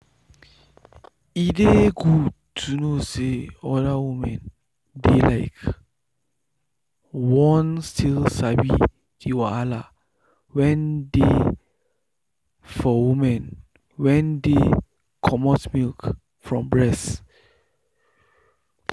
e dey good to know say other women dey like won still sabi the wahala wen dey for women wen dey comot milk from breast.